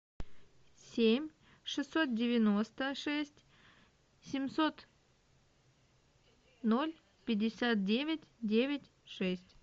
семь шестьсот девяносто шесть семьсот ноль пятьдесят девять девять шесть